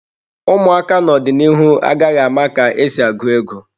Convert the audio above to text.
Ụmụaka n'ọdịnihu agaghị ama ka esi agụ ego.